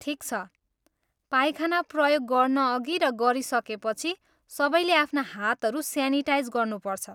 ठिक छ! पाइखाना प्रयोग गर्नअघि र गरिसकेपछि सबैले आफ्ना हातहरू स्यानिटाइज गर्नुपर्छ।